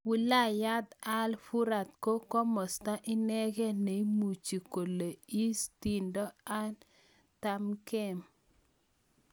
Wilayat al-Furat ko komasta inegee neimuchi kole Is tiindoi ardh tamkeem